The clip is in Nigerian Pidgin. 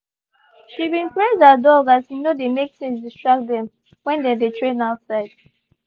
she been praise her dog as e no de make things distract them when they dey train outside.